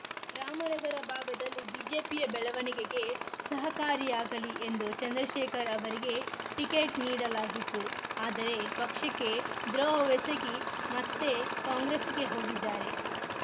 ರಾಮನಗರ ಭಾಗದಲ್ಲಿ ಬಿಜೆಪಿಯ ಬೆಳವಣಿಗೆಗೆ ಸಹಕಾರಿಯಾಗಲಿ ಎಂದು ಚಂದ್ರಶೇಖರ್‌ ಅವರಿಗೆ ಟಿಕೆಟ್‌ ನೀಡಲಾಗಿತ್ತು ಆದರೆ ಪಕ್ಷಕ್ಕೆ ದ್ರೋಹವೆಸಗಿ ಮತ್ತೆ ಕಾಂಗ್ರೆಸ್‌ಗೆ ಹೋಗಿದ್ದಾರೆ